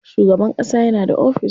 Shugaban ƙasa yana da ofis.